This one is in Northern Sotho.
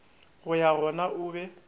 go ya gona o be